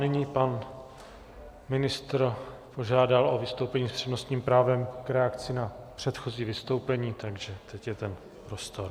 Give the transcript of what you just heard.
Nyní pan ministr požádal o vystoupení s přednostním právem k reakci na předchozí vystoupení, takže teď je ten prostor.